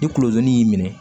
Ni kulodon y'i minɛ